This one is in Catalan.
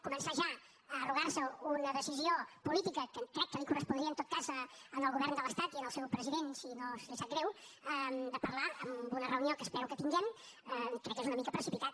començar ja a arrogar se una decisió política que crec que els correspondria en tot cas al govern de l’estat i al seu president si no li sap greu de parlar en una reunió que espero que tinguem crec que és una mica precipitat